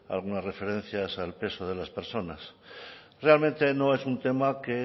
alguna referencias al peso de las personas realmente no es un tema que